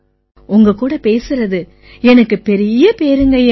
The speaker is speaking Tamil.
உங்க கூட பேசறது பெரிய பேறுங்கய்யா